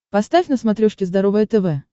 поставь на смотрешке здоровое тв